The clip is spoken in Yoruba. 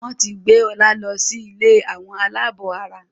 wón tí gbé Ola ló sì ilé Àwọn alabó àrà.